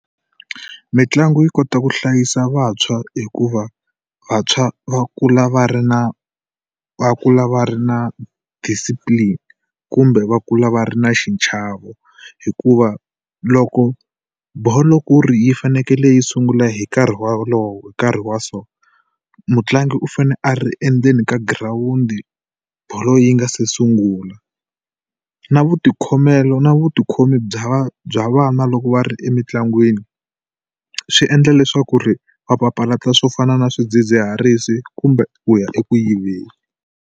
Mitlangu yi kota ku hlayisa vantshwa hikuva vantshwa va kula va ri na va kula va ri na discipline kumbe va kula va ri na xichavo hikuva loko bolo ku ri yi fanekele yi sungula hi nkarhi wolowo hi nkarhi wa so mutlangi u fane a ri endzeni ka girawundi bolo yi nga se sungula. Na vutikhomelo na vutikhomi bya va bya vana loko va ri emitlangwini swi endla leswaku ri va papalata swo fana na swidzidziharisi kumbe ku ya eku yiveni.